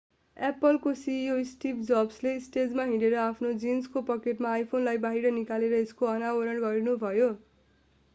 Apple apple का CEO Steve Jobs steve jobsले स्टेजमा हिँडेर र आफ्नो जीन्सको पकेटबाट आइफोन iphoneलाई बाहिर निकालेर यसको अनावरण गर्नुभयो।